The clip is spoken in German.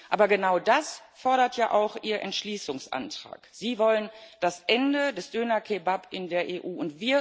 Aber genau das fordert ja auch Ihr Entschließungsantrag Sie wollen das Ende des Döner Kebabs in der EU.